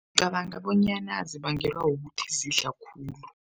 Ngicabanga bonyana zibangelwa kukuthi zidla khulu.